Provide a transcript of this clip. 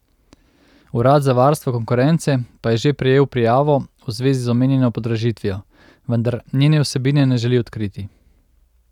Urad za varstvo konkurence pa je že prejel prijavo v zvezi z omenjeno podražitvijo, vendar njene vsebine ne želi odkriti.